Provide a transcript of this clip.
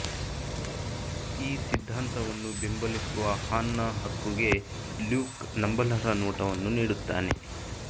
ಈ ಸಿದ್ಧಾಂತವನ್ನು ಬೆಂಬಲಿಸುವ ಹಾನ್ನ ಹಕ್ಕುಗೆ ಲ್ಯೂಕ್ ನಂಬಲರ್ಹ ನೋಟವನ್ನು ನೀಡುತ್ತಾನೆ